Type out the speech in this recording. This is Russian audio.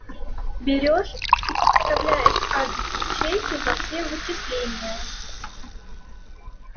берёшь и подставляешь адрес ячейки во все вычисления